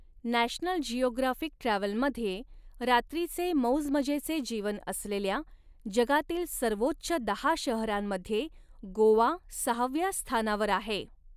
National Geographic ट्रॅव्हलमध्ये, रात्रीचे मौजमजेचे जीवन असलेल्या, जगातील सर्वोच्च दहा शहरांमध्ये गोवा सहाव्या स्थानावर आहे.